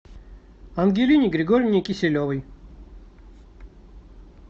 ангелине григорьевне киселевой